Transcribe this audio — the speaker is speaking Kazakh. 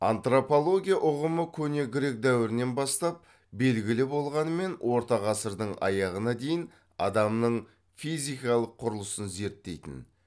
антропология ұғымы көне грек дәуірінен бастап белгілі болғанымен орта ғасырдың аяғына дейін адамның физикалық құрылысын зерттейтін